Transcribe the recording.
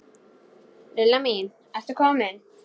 Lilla mín, ertu komin?